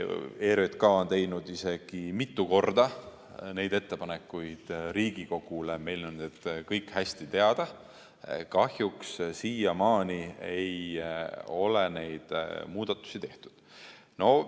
ERJK on teinud isegi mitu korda neid ettepanekuid Riigikogule, meile on need kõik hästi teada, kuid kahjuks siiamaani ei ole neid muudatusi tehtud.